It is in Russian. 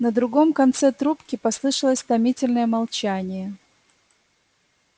на другом конце трубки послышалось томительное молчание